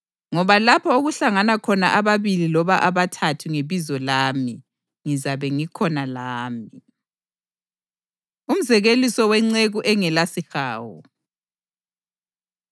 Ngoba lapho okuhlangana khona ababili loba abathathu ngebizo lami, ngizabe ngikhona lami.” Umzekeliso Wenceku Engelasihawu